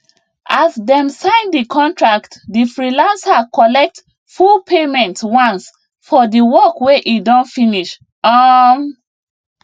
as dem sign the contract the freelancer collect full payment once for the work wey e don finish um